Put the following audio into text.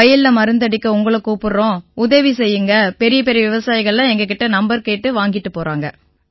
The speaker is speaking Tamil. வயல்ல மருந்தடிக்க உங்களைக் கூப்பிடறோம் உதவி செய்யுங்கன்னு பெரியபெரிய விவசாயிகள்லாம் என்கிட்டேர்ந்து நம்பர் வாங்கிட்டுப் போறாங்க